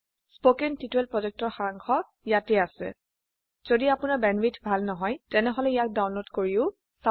কথন শিক্ষণ প্ৰকল্পৰ সাৰাংশ ইয়াত আছে যদি আপোনাৰ বেণ্ডৱিডথ ভাল নহয় তেনেহলে ইয়াক ডাউনলোড কৰি চাব পাৰে